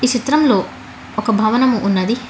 ఈ చిత్రం లో ఒక భవనం ఉన్నాది.